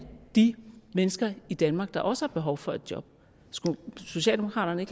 de mennesker i danmark der også har behov for et job skulle socialdemokraterne